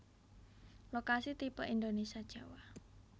Lokasi tipe Indonesia Jawa